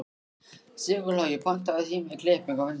Sigurlogi, pantaðu tíma í klippingu á fimmtudaginn.